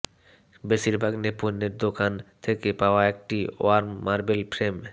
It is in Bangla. বেশিরভাগ নৈপুণ্যের দোকান থেকে পাওয়া একটি ওয়্যার মার্বেল ফ্রেম